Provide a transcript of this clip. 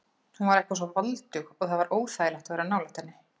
Hún var eitthvað svo voldug og það var óþægilegt að vera nálægt henni.